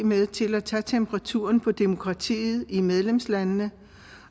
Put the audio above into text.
med til at tage temperaturen på demokratiet i medlemslandene